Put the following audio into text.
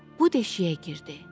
Bu deşiyə girdi.